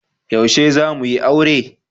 Yaushe za mu yi aure?